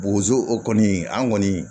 Bozo o kɔni an kɔni